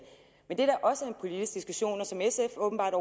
men det der også er en politisk diskussion og som sf åbenbart